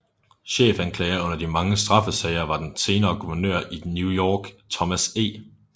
Chefanklager under de mange straffesager var den senere guvernør i New York Thomas E